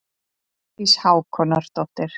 Hjördís Hákonardóttir.